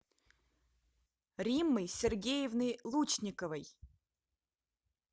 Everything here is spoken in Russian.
риммой сергеевной лучниковой